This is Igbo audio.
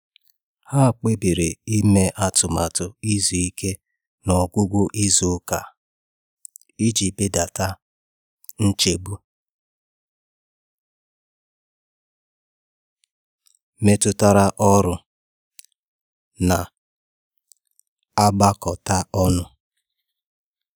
Ha kpebiri ime atụmatụ izu ike na ọgwụgwụ izu ụka iji belata nchegbu metụtara ọrụ na-agbakọta ọnụ